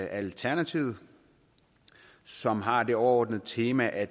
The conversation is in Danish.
alternativet som har det overordnede tema at